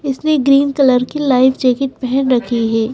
इसने green colour की light jacket पहन रखी है।